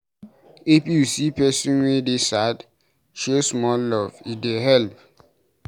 If you see pesin wey dey sad, show small love, e dey help.